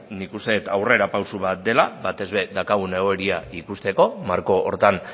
nik uste dut aurrerapauso bat dela batez ere daukagun egoera ikusteko marko horretan